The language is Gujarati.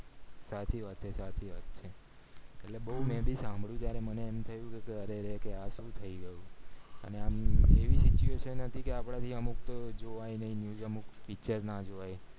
સાચી વાત છે સાચી વાત છે એટલે બૌ સાંભળ્યું છે જયારે મને એમ થયું કે અરે રે આ શું થય ગયું અને આમ એવી situation હતી કે આપડાથી અમુક તો જોવાય અય નય અમુક picture જ ના જોવાય